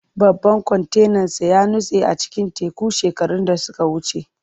Babban kwantenansa ya nutse a cikin teku shekaru da suka wuce.